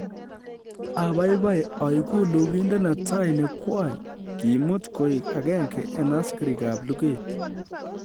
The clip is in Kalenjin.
Abaibai oigu lugindet netai ne kwony kiimut koik agenge en asikarikab luget